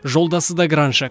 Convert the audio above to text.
жолдасы да краншы